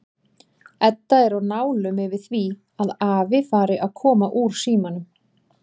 Edda er á nálum yfir því að afi fari að koma úr símanum.